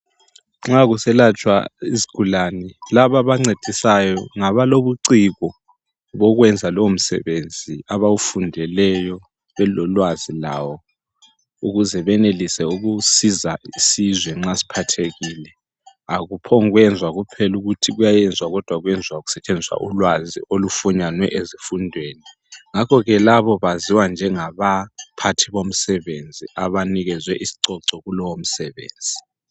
Nxa kuselatshwa izigulane labo abancedisayo ngabalobuciko bokwenza lowo msebenzi abawufundeleyo belolwazi lawo ukuze benelise ukusiza isizwe nxa siphathekile, akuphongwenzwa kuphela ukuthi kuyayenzwa kodwa kwenzwa kusetshenziswa ulwazi olufunyanwe ezifundweni ngakhoke labo baziwa njengabaphathi bomsebenzi abanikezwe isicoco kulowo msebenzi.